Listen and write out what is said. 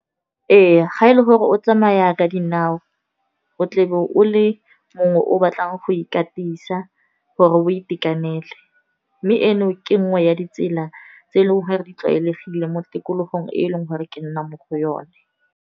Ee ga e le gore o tsamaya ka dinao o tlebe o le mongwe o batlang go ikatisa gore o itekanele. Mme eno ke nngwe ya ditsela tse e leng gore di tlwaelegile mo tikologong, e e leng gore ke nnang mo go yone.